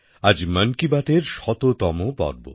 আজ মান কি বাতএর শততম পর্ব